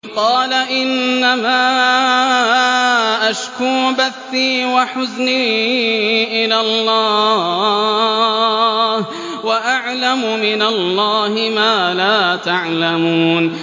قَالَ إِنَّمَا أَشْكُو بَثِّي وَحُزْنِي إِلَى اللَّهِ وَأَعْلَمُ مِنَ اللَّهِ مَا لَا تَعْلَمُونَ